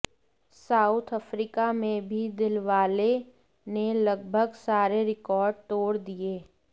south Africa में भी दिलवाले ने लगभग सारे रिकॉर्ड तोड़ दिए